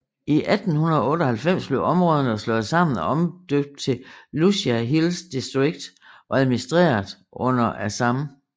I 1898 blev områderne slået sammen og omdøbt til Lushai Hills Districted og administreret under Assam